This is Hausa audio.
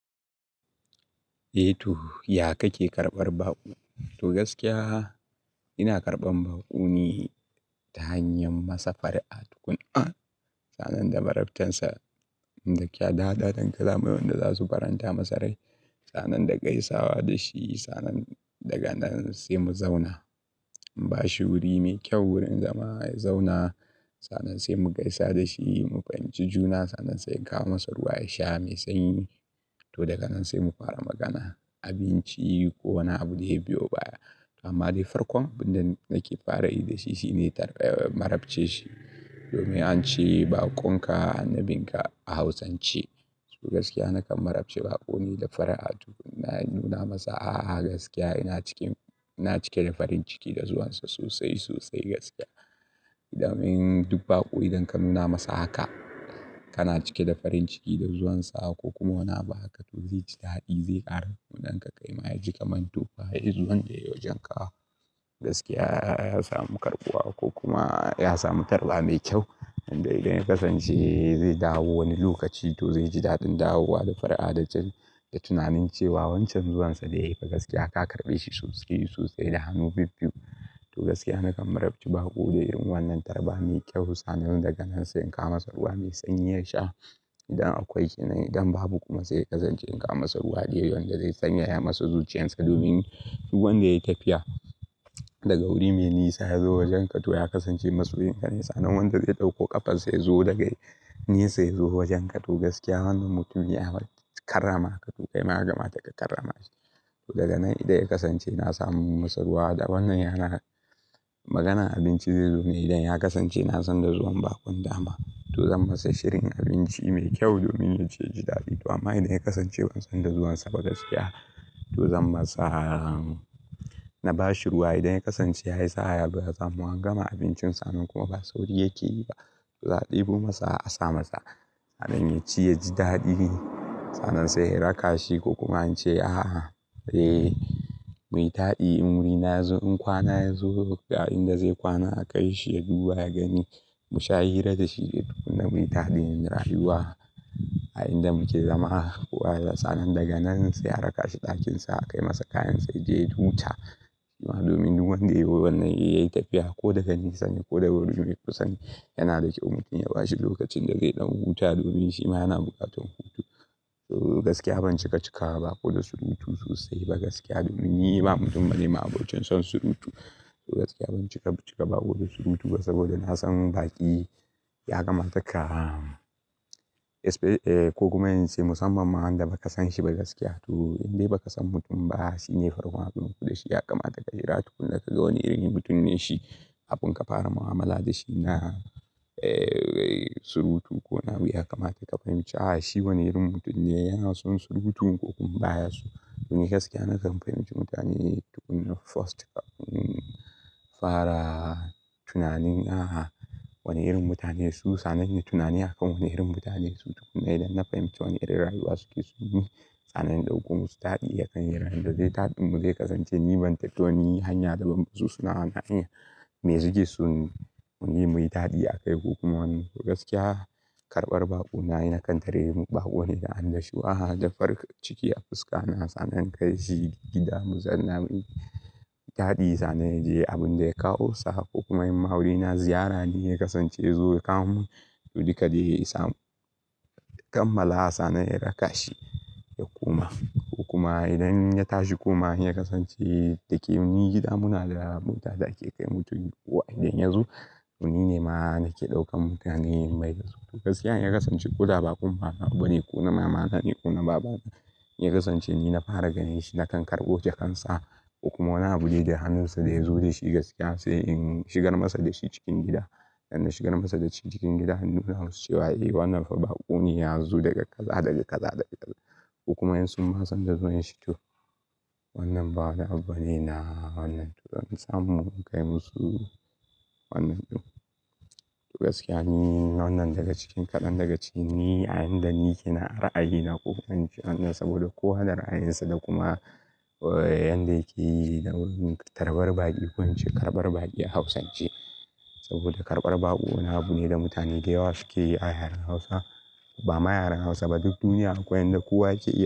Eh to, ya kake karɓar baƙo? To gaskiya ina karɓan baƙo ne ta hanyar masa far'a tukuna. Sannan da marabtansa, dakya, da tadanka, zamuyi wanda zasu faranta masa rai. Sannan da gaisawa da shi, sannan daga nan sai mu zauna. Bashi wuri mai kyau wurin zama ya zauna. Sannan sai mu gaisa da shi, mu fahimci juna. Sannan sai ka kawo masa ruwa ya sha mai sanyi. To daga nan sai mu fara magana, abinci ko wani abu dai biyo baya. Amma dai farkon abin da nake fara yi da shi shine marabce shi. Domin an ce baƙon ka, annabinka a Hausance. To gaskiya nakan marabce baƙo ne da far'a tukuna. In nuna masa a'a gaskiya ina cikin, ina cike da farin ciki da zuwansa sosai, sosai gaskiya. Idan mun, duk baƙo idan ka nuna masa haka, kana cike da farin ciki da zuwansa ko kuma wani abu haka to zai ji daɗi, zai ƙara kaunan ka. Kai ma ya ji kamantu fa yanzu wanda ya yi wajen ka. Gaskiya ya samu karɓuwa ko kuma ya samu tarba mai kyau. Inda idan ya kasance zai dawo wani lokaci to zai ji daɗin dawowa da far'a da jin, da tunanin cewa wancan zuwansa da yayi fa gaskiya ka karɓe shi sosai da hannu bibbiyu. To gaskiya nakan marabce baƙo da yin wannan tarba mai kyau. Sannan daga nan sai in kawo masa ruwa mai sanyi ya sha. Idan akwai, idan babu kuma sai ya kasance in kawo masa ruwa da yawa wanda zai sanyaya masa zuciyarsa. Domin duk wanda yayi tafiya daga wuri mai nisa yazo wajen ka to ya kasance masoyin ka ne. Sannan wanda zai ɗauko ƙafa sai zo daga nisa yazo wajen ka to gaskiya wannan mutum ya karrama ka toh Kai ma ya kamata ka karrama shi. To daga nan idan ya kasance na samu masa ruwa da wannan yana maganan abinci zai zo ne idan ya kasance na san da zuwan baƙon dama. To zan masa shirin abinci mai kyau domin ya ce ji daɗi. Tu amma idan ya kasance ban san da zuwansa ba gaskiya to zan masa, na bashi ruwa idan ya kasance ya isa yalu ya samu. An gama abincin sannan kuma ba sauri yake yi ba. To zaɓi ko masa a sa masa. Sannan ya ci ya ji daɗi. Sannan sai in raka shi ko kuma in ce a'a, eh, muyi ta'adi in wurina yazo in kwana ya zo ga inda zai kwana aka kai shi ya duba ya gani. Mu sha hira da shi duk da muyi ta'adi in rayuwa a inda muke zama. Ko a yanzu sannan daga nan sai a raka shi ɗakinsa aka yi masa kayan sa yaje ya huta. Shima domin duk wanda yazo wannan yayi tafiya ko daga nisa ne ko daga wurin mikusanci yana da kyau mutum ya bashi lokacin da zai ɗan huta domin shima yana bukatan hutu. To gaskiya ban cika cika ba ko da surutu sosai ba gaskiya domin yi ba mutum bane ma abincin son surutu. To gaskiya ban cika cika ba ko da surutu ba saboda na san baƙi ya kamata ka, ko kuma in ce musamman ma wanda ba ka san shi ba gaskiya. To indai ba ka san mutum ba shine farkon haduwan ku da shi ya kamata ka yi ra'ayi tukuna ka ga wane irin mutum ne shi. Kafin ka fara mu'amala da shi na, eh, surutu ko na wuya kamata ka fahimci a'a shi wane irin mutum ne? Yana son surutun ko kuma baya so. Domin gaskiya nakan fahimci mutane tukuna first, fara tunanin a'a wane irin mutane su. Sannan ne tunani akan wane irin mutane su tukuna idan na fahimci wane irin rayuwa suke suna yi. Sannan in ɗauko musu daɗi akan yaron da zai yi daɗin mu zai kasance ni ban tattauniyoyi hanya da ban ba su suna. Na iya me suke so mun yi mai daɗi a kai ko kuma wani abu. To gaskiya karɓar baƙo na, na kan tare mu baƙo ne da annashwaha. A'a da farko ciki a fuska na sannan ka kai shi gida mu zanna mun yi daɗi sannan ya je abun da ya kawo sa. Ko kuma in ma'aure na ziyara ne ya kasance ya zo ya kawo mun wani kadayi ya samu. Kamala a sannan ya raka shi, ya koma. Ko kuma idan ya tashi kuma ya kasance take mun yi gida muna da abun da ake kai mutum waje idan ya zo. To nine ma nake ɗaukan mutane in bai da su. Gaskiya in ya kasance ko da baƙon bana abu bane ko na mamana ne ko na babana. In ya kasance ni na fara gani shi na kan karɓo jakansa ko kuma wani abu dai da hannunsa da ya zo da shi gaskiya sai in shigar masa da shi cikin gida. Dan na shigar masa da shi cikin gida in nuna masa cewa eh wannan fa baƙo ne ya zo daga kaza, daga kaza, daga yanzu. Ko kuma in sun ba san da zuwan shi to wannan ba wani abu bane na wannan to zan samu in kai musu wannan ɗin. To gaskiya ni wannan daga cikin, kaɗan daga ciki ne a inda ni ke na ara a yi na kuma an ce wannan saboda kowa yana da raayin sa da kuma yanda yake tarbar baƙi ko an ce karɓar baƙi a Hausance. Saboda karɓar baƙo wani abu ne da mutane da yawa suke yi a yaren Hausa. Ba ma yaren Hausa ba duk duniya akwai yanda kowa ke.